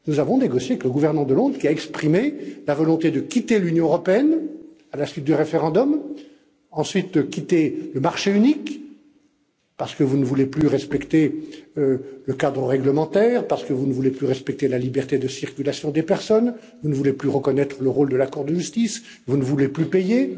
Nous avons négocié avec le gouvernement de Londres, qui a exprimé la volonté de quitter l'Union européenne à la suite du référendum, ensuite de quitter le marché unique, parce que vous ne voulez plus respecter le cadre réglementaire, parce que vous ne voulez plus respecter la liberté de circulation des personnes, parce que vous ne voulez plus reconnaître le rôle de la Cour de justice et que vous ne voulez plus payer.